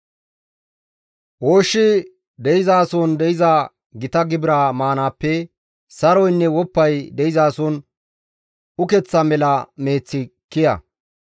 Ooshshi de7izason de7iza gita gibira maanaappe saroynne woppay de7izason ukeththa mela meeththi kiya.